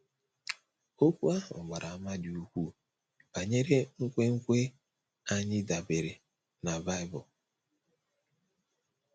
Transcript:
Okwu ahụ gbara àmà dị ukwuu banyere nkwenkwe anyị dabeere na Bible.